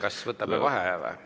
Kas võtame vaheaja?